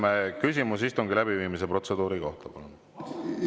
Mart Helme küsimus istungi läbiviimise protseduuri kohta, palun!